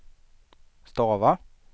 stava